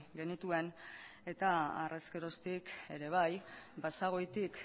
genituen eta harrezkeroztik ere bai basagoitik